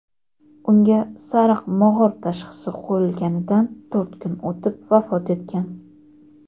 unga "sariq mog‘or" tashxisi qo‘yilganidan to‘rt kun o‘tib vafot etgan.